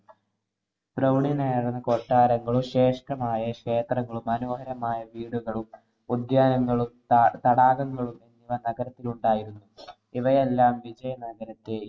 പ്രൌഢി നിറഞ്ഞ കൊട്ടാരങ്ങളും, ശ്രേഷ്ടമായ ക്ഷേത്രങ്ങളും, മനോഹരമായ വീടുകളും, ഉദ്യാനങ്ങളും, ത~തടാകങ്ങളും നഗരത്തിലുണ്ടായിരുന്നു. ഇവയെല്ലാം വിജയനഗരത്തെ